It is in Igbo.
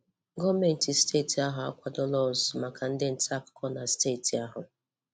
Gọọvmentị steeti ahụ akwadola ọzụzụ maka ndị ntaakụkọ na steeti ahụ.